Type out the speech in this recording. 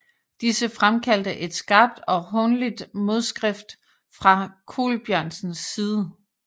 Disse fremkaldte et skarpt og hånligt modskrift fra Colbjørnsens side